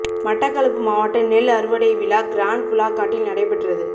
மட்டக்களப்பு மாவட்ட நெல் அறுவடை விழா கிரான் பூலாக்காட்டில் நடைபெற்றது